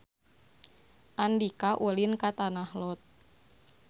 Andika ulin ka Tanah Lot